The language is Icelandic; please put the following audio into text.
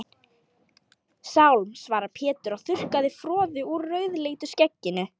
Sálm, svaraði Pétur og þurrkaði froðu úr rauðleitu skegginu.